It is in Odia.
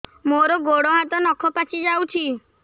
ମୋର ଗୋଡ଼ ହାତ ନଖ ପାଚି ଯାଉଛି